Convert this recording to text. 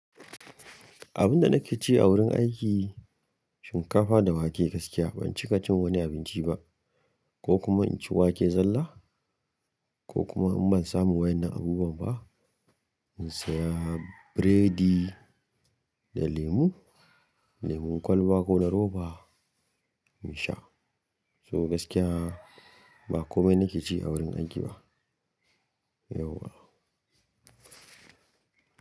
Abunda nake ci a wurin aiki shinkafa da wake gaskiya ban cika cin wani abinci ba ko kuma inci wake zalla ko kuma in ban samu waƴan nan abubuwa ba in saya biredi da lemu, lemun kwalba ko na roba in sha. To gaskiya ba komai nake ci a wurin aiki ba yauwa.